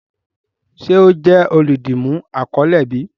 Ṣe o jẹ oludimu akọle bi?